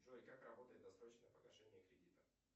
джой как работает досрочное погашение кредита